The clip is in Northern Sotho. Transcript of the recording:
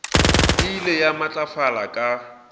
e ile ya matlafala ka